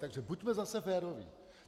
Takže buďme zase féroví.